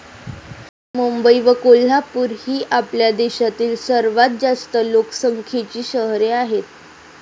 मुंबई व कोल्हापूर ही आपल्या देशातील सर्वात जास्त लोकसंख्येची शहरे आहेत.